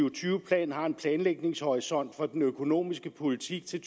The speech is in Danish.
og tyve plan har en planlægningshorisont for den økonomiske politik til